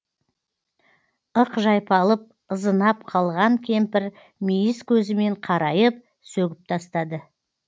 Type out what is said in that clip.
ық жайпалып ызынап қалған кемпір мейіз көзімен қарайып сөгіп тастады